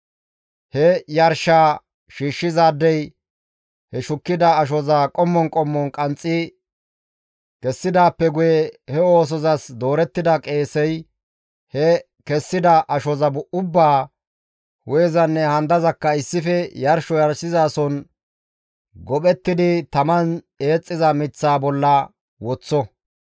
He yarshaa shiishshizaadey he shukkida ashoza qommon qommon qanxxi kessidaappe guye he oosozas doorettida qeesey he kessida ashoza ubbaa hu7ezanne handazakka issife yarsho yarshizason gophettidi taman eexxiza miththaa bolla woththo;